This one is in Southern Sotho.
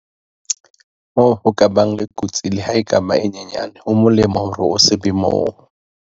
Moo ho ka bang kotsi, le ha e ka ba e nyane, ho molemo hore o se be moo.